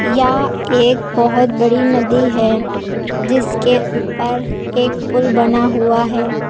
यह एक बहोत बड़ी नदी है जिसके ऊपर एक पुल बना हुआ है।